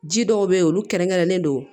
Ji dɔw be yen olu kɛrɛnkɛrɛnnen don